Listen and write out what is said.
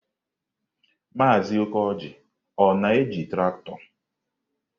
Maazị Okoji na-eji traktọ?